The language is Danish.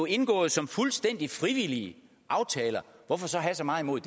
indgået som fuldstændig frivillige aftaler hvorfor så have så meget imod